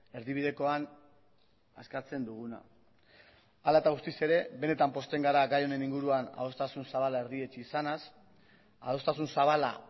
erdibidekoan eskatzen duguna hala eta guztiz ere benetan pozten gara gai honen inguruan adostasun zabala erdietsi izanaz adostasun zabala